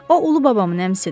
O ulu babamın əmisidir.